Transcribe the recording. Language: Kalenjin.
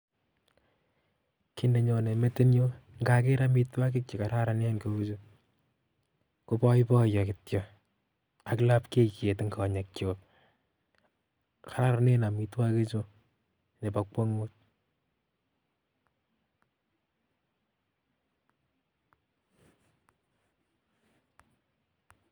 Kiit nenyone metinyu ngaker amitwoki chekororonen kou chu koboiboiyo kityo ak lapkeiyet eng konyekchuk kararanen amitwogichu nebo kwangut